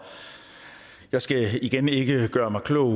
jeg skal igen ikke gøre mig klog